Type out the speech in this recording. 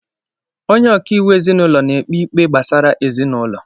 Onye ọkaiwu ezinaụlọ na-ekpe ikpé gbasara ezinaụlọ.